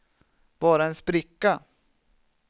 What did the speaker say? bara en spricka